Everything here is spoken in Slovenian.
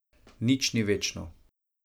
Nič ni večno.